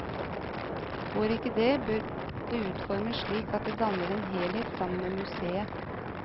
Går ikke det, bør det utformes slik at det danner en helhet sammen med museet.